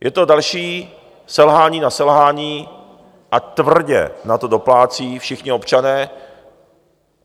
Je to další selhání na selhání a tvrdě na to doplácí všichni občané.